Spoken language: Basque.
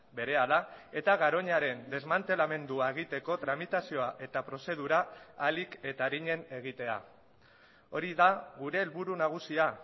berehala eta garoñaren desmantelamendua egiteko tramitazioa eta prozedura ahalik eta arinen egitea hori da gure helburu nagusia